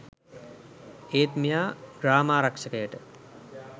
ඒත් මෙයා ග්‍රාමාරක්ෂකයට